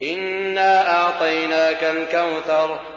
إِنَّا أَعْطَيْنَاكَ الْكَوْثَرَ